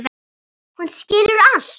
Hún skilur allt.